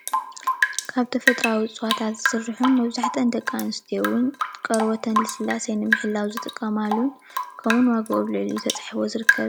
እዚ ምስሊ ካብ እፅዋት ዝተሰረሐ ኮይኑ ደቂ አንስትዮ ንቆረበት መለስለሲ ይጠቀማሉ።